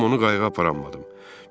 Amma onu qayıqa aparammadım.